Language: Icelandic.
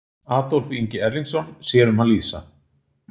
Adolf Ingi Erlingsson sér um að lýsa.